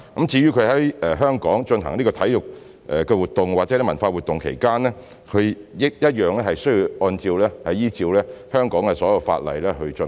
至於他們在香港進行體育活動或文化活動，同樣需要依照香港的所有法例來進行。